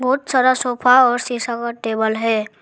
बहुत सारा सोफा और शीशा का टेबल है।